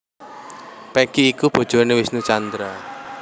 Peggy iku bojoné Wisnu Tjandra